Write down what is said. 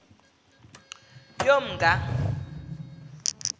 yomnga